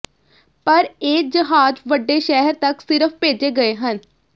ਪਰ ਇਹ ਜਹਾਜ਼ ਵੱਡੇ ਸ਼ਹਿਰ ਤੱਕ ਸਿਰਫ ਭੇਜੇ ਗਏ ਹਨ